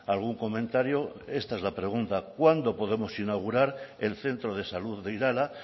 algún comentario esta es la pregunta cuándo podemos inaugurar el centro de salud de irala